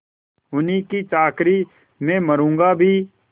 उन्हीं की चाकरी में मरुँगा भी